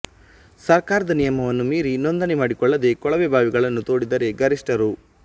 ಸರ್ಕಾರದ ನಿಯಮವನ್ನು ಮೀರಿ ನೋಂದಣಿ ಮಾಡಿಕೊಳ್ಳದೆ ಕೊಳವೆ ಬಾವಿಗಳನ್ನು ತೋಡಿದರೆ ಗರಿಷ್ಠ ರೂ